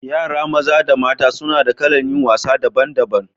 Yara maza da mata suna da kalan yin wasa daban daban.